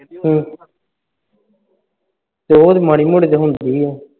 ਹੂ ਉਹ ਤੇ ਮਾੜੀ ਮੋਟੀ ਹੁੰਦੀ ਹੈ